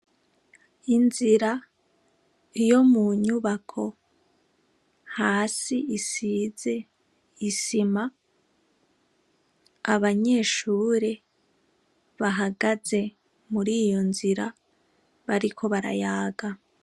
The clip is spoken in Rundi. Inzira yo mu nyubako hasi isize isima. Abanyshure bahagaze muriyo nzira bariko barayaga.